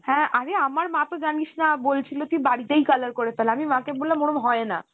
হ্যাঁ অরে আমার মা তো জানিস না বলছিলো তুই বাড়িতেই color করে ফেল আমি মা কে বললাম ওরম হয় না